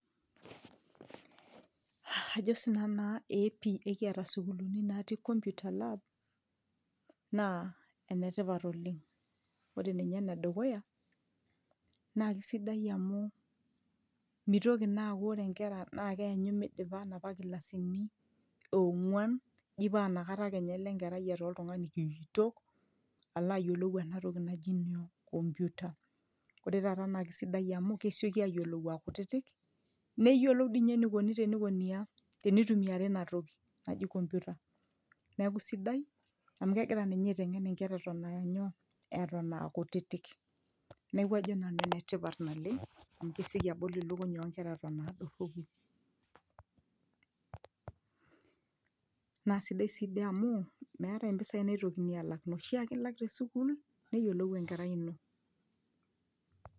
ajo sinanu naa eepi ekiata isukuluni natii computer lab naa enetipat oleng ore ninye enedukuya naa kisidai amu mitoki naa aaku ore inkera naa keenyu midipa inapa kilasini ong'uan eji paa inakata kenya elo enkerai etaa oltung'ani kiitok alo ayiolou enatoki naji nyoo computer ore taata naa kisidai amu kesioki ayiolou akutitik neyiolou dii ninye enikoni tenikoni aa tenitumiari inatoki naji computer neeku sidai amu kegira ninye aiteng'en inkera eton anyoo eton akutitik neeku ajo nanu enetipat naleng amu kesieki abol ilukuny onkera eton adorropu naa sidai sii dii amu meetae mpisai naitokini alak inoshi ake ilak tesukul neyiolou enkerai ino.